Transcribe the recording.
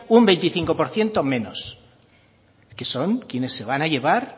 un veinticinco por ciento menos es que son quienes se van a llevar